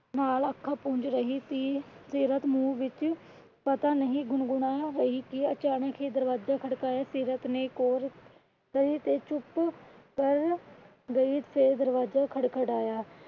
ਨਾਲ ਅੱਖਾਂ ਪੁੰਛ ਰਹੀ ਸੀ। ਸੀਰਤ ਮੂੰਹ ਵਿੱਚ ਪਤਾ ਨਹੀਂ ਗੁਣਗੁਣਾ ਰਹੀ ਅਚਾਨਕ ਹੀ ਦਰਵਾਜਾ ਖੜਕਾ ਸੀਰਤ ਚੁੱਪ ਕਰ ਗਈ ਤੇ ਦਰਵਾਜਾ ਖੜਕੀਏਆਂ।